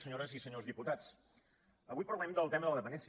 senyores i senyors diputats avui parlem del tema de la dependència